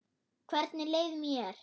Hvernig leið mér?